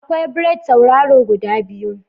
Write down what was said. Akwai braids tauraro guda biyu.